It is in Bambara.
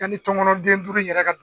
Yanni tɔnkɔnɔn den duuru in yɛrɛ ka